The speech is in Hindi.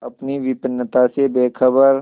अपनी विपन्नता से बेखबर